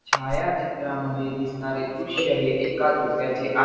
छायाचित्रामध्ये दिसणारे दृश्य हे एका झोक्याचे आ --